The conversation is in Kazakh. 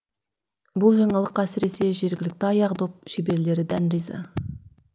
бұл жаңалыққа әсіресе жергілікті аяқ доп шеберлері дән риза